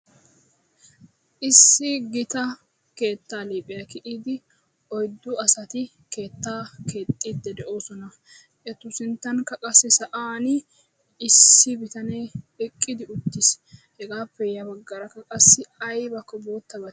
Issi gita keettan liphiyaa kiyyidi oyddu asati keetta keexxidi de'oosona; etu sinttankka qassi sa'an issi bitaanee eqqi uttiisi hega bollankka qassi aybakko gutaabay